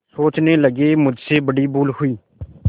सोचने लगेमुझसे बड़ी भूल हुई